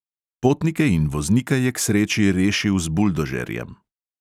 Potnike in voznika je k sreči rešil z buldožerjem.